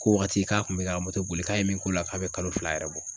K'o waati k'a kun me k'a ga moto boli k'a ye min k'o la k'a be kalo fila yɛrɛ bɔ